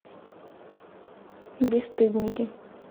бесстыдники